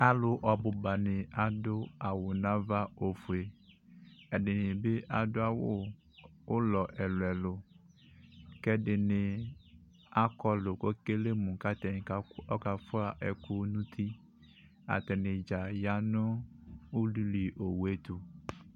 Alʋ ɔbʋbani adʋ awʋ nʋ ava ofue ɛdini bi adʋ awʋ ʋlɔ ɛlʋ ɛlʋ kɛdini akɔlʋ kʋ ekele mʋ atzdza kafua ɛkʋ nʋ ʋti atani dza yanʋ ululi owʋe tʋ